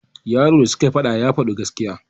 yaro da sukai faɗa ya Fadi gaskiya